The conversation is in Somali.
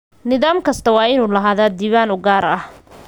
Nidaam kastaa waa inuu lahaadaa diiwaan u gaar ah.